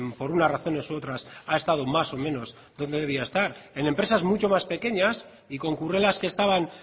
por unas razones u otras ha estado más o menos donde debía estar en empresas mucho más pequeñas y con currelas que estaban